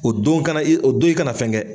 O don kana o don i kana na fɛn kɛ